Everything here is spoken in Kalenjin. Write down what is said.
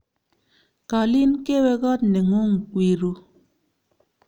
Kalin kewe kot ne ngung wi ru